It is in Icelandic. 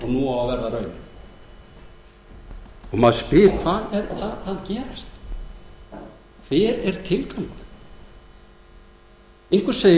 nú á að verða raunin maður spyr hvað er að gerast þar hver er tilgangurinn einhver segir að